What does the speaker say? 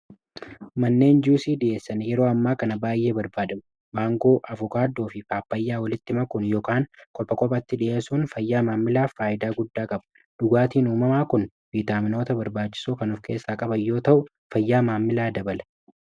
manneen jc d'essan yeroo ammaa kana baay'ee barbaadamu baangoo afukaadoo fi faappayyaa walittima kun yokan kolpha qophatti dhi'eessuun fayyaa maammilaa faayidaa guddaa qaba dhugaatiin uumamaa kun biitaaminoota barbaachisoo kanuuf keessaa qabayyoo ta'u fayyaa maammilaa dabala